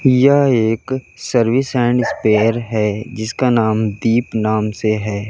यह एक service and spare है जिसका नाम दीप नाम से है।